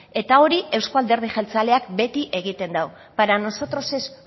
eta hori euzko alderdi jeltzaleak beti egiten du para nosotros es